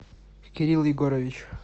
кирилл егорович